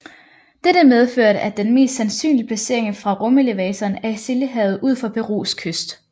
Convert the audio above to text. Dette medførte at den mest sandsynlige placering for rumelevatoren er i Stillehavet ud for Perus kyst